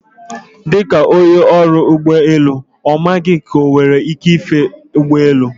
Dịka onye ọrụ ụgbọ elu, mama gị enwere ike ife ụgbọelu?